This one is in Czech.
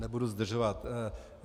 Nebudu zdržovat.